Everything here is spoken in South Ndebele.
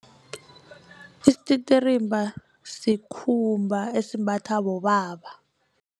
Isititirimba sikhumba esimbatha bobaba.